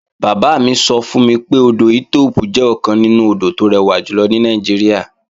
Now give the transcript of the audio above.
Bàbá mi sọ fún mi pé, odò Ethiope jẹ́ ọ̀kan nínú àwọn odò tó rẹwà jùlọ ní Nàìjíríà